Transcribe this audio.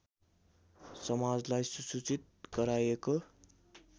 समाजलाई सुसूचित गराएको